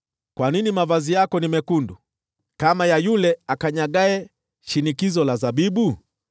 Kwa nini mavazi yako ni mekundu, kama ya yule akanyagaye shinikizo la zabibu?